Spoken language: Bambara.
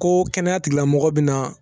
Ko kɛnɛyatigilamɔgɔ bi na